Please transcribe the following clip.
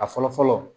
A fɔlɔ fɔlɔ